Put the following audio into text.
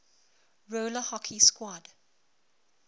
roller hockey quad